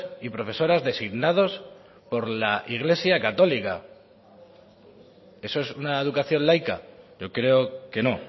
y profesoras designados por la iglesia católica eso es una educación laica yo creo que no